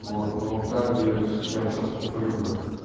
вот ну так блин я бы сейчас покурил бы